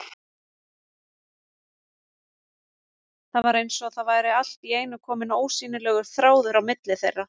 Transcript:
Það var eins og það væri allt í einu kominn ósýnilegur þráður á milli þeirra.